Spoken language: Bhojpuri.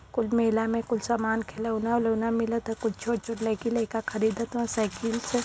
कुल मेला में कुल सामान खिलौना ओलौना मिलत है। कुल छोट छोट लाइकी लाइक खरीदत हव साइकिल से --